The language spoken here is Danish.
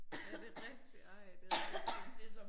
Ja det rigtigt ej det rigtigt sådan